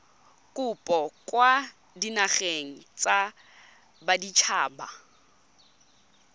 kopo kwa dinageng tsa baditshaba